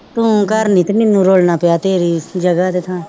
ਤੂੰ ਘਰ ਨੀ ਨਾ ਪਿਆ ਤੇਰੀ ਜਗ੍ਹਾ ਦੇ ਥਾਂ